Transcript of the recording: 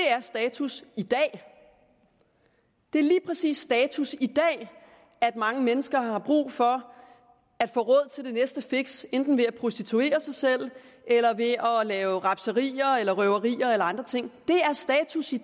er status i dag det er lige præcis status i dag at mange mennesker har brug for at få råd til det næste fix enten ved at prostituere sig selv eller ved at lave rapserier eller røverier eller andre ting det er status i